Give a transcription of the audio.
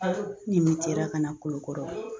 Ne ka na Kulukɔrɔ